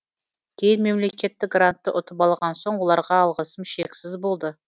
кейін мемлекеттік грантты ұтып алған соң оларға алғысым шексіз болды